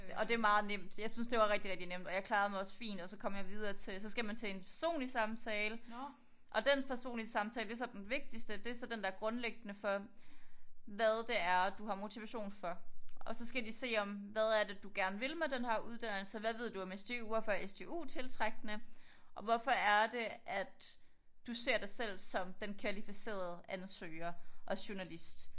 Og det er meget nemt jeg syntes det var rigtigt rigtigt nemt og jeg klarede mig også fint og så kom jeg videre til så skal man til en personlig samtale og den personlige samtale det er så den vigtigste det er sp den der er grundlæggende for hvad det er du har motivation for og så skal de se om hvad er det du gerne vil med denne her uddannelse hvad ved du om SDU hvorfor er SDU tiltrækkende og hvorfor er det at du ser dig selv som den kvalificerede ansøger og journalist